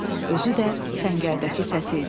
Özü də səngərdəki səsi idi.